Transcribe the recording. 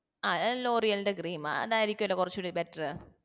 ആ ലോറിയലിന്റെ cream അതായിരിക്കുവല്ലേ കുറച്ചുകൂടി better